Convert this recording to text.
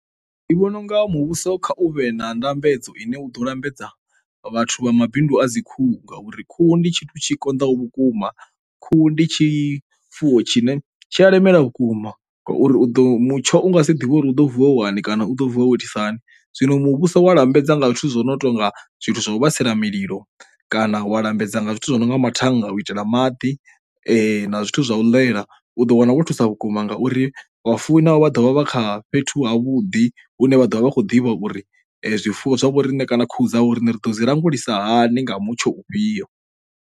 Ndi vhona unga muvhuso kha u vhe na ndambedzo ine u ḓo lambedza vhathu vha mabindu a dzi khuhu ngauri khuhu ndi tshithu tshi konḓaho vhukuma. Khuhu ndi tshifuwo tshine tshi a lemela vhukuma ngauri u ḓo, mutsho u nga si ḓivhe uri u ḓo vuwa wane kana u ḓo vuwa wo itisa hani zwino muvhuso wa lambedza nga zwithu zwo no tonga zwithu zwa u vhaisala mililo kana wa lambedza nga zwithu zwo no nga mathannga u itela maḓi na zwithu zwa u ḽela u ḓo wana wo thusa vhukuma ngauri vhafuwi navho vha ḓovha vha kha fhethu ha vhuḓi hune vha ḓo vha vha khou ḓivha uri zwifuwo zwa vhoriṋe kana khuhu dzavho uri ri ḓo dzi languli sa hani nga mutsho ufhio.